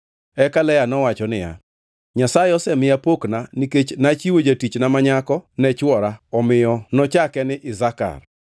Eka Lea nowacho niya, “Nyasaye osemiya pokna nikech nachiwo jatichna ma nyako ne chwora, omiyo nochake ni Isakar. + 30:18 Isakar gi dho jo-Hibrania en mich.”